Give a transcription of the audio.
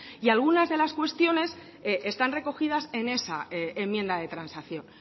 y algunas de las cuestiones están recogidas en esa enmienda de transacción